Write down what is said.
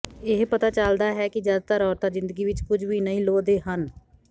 ਇਹ ਪਤਾ ਚਲਦਾ ਹੈ ਕਿ ਜ਼ਿਆਦਾਤਰ ਔਰਤਾਂ ਜ਼ਿੰਦਗੀ ਵਿਚ ਕੁਝ ਵੀ ਨਹੀਂ ਲੋਹਦੇ ਹਨ